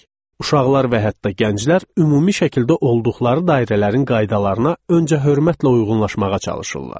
Uşaqlar və hətta gənclər ümumi şəkildə olduqları dairələrin qaydalarına öncə hörmətlə uyğunlaşmağa çalışırlar.